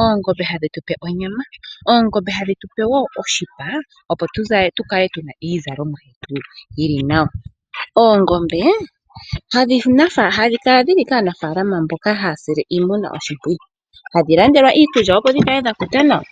oongombe hadhi tupe onyama, oongombe hadhi tupe woo oshipaa opo tukale tuna iizalomwa yetu yili nawa. Oongombe hadhikala dhili kaanafaalama mboka haasile iimuna oshimpwiyu. Hadhilandelwa iikulya opo dhikale dhakuta nawa.